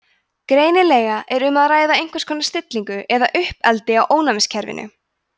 greinilega er um að ræða einhvers konar stillingu eða uppeldi á ónæmiskerfinu